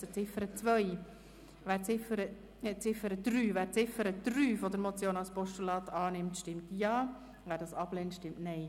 Wer die Ziffer 3 der Motion als Postulat annimmt, stimmt Ja, wer dies ablehnt, stimmt Nein.